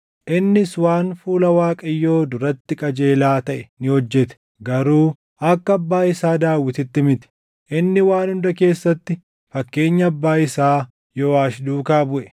Innis waan fuula Waaqayyoo duratti qajeelaa taʼe ni hojjete. Garuu akka abbaa isaa Daawititti miti. Inni waan hunda keessatti fakkeenya abbaa isaa Yooʼaash duukaa buʼe.